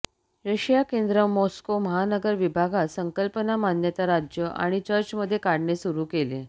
Russia केंद्र Moscow महानगर विभागात संकल्पना मान्यता राज्य आणि चर्च मध्ये काढणे सुरू केले